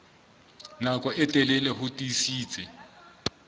nako e telele ho tiisitse